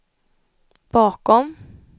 bakom